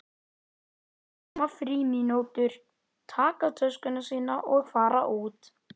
Og svo koma frímínútur, taka töskuna sína og fara út.